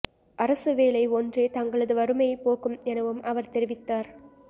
அரசு வேலை ஒன்றே தங்களது வறுமையை போக்கும் எனவும் அவர் தெரிவித்தார்